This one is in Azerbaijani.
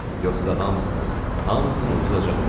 Yoxsa hamısını, hamısını uduzacaqsız.